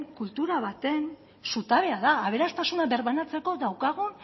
kultura baten zutabea da aberastasuna birbanatzeko daukagun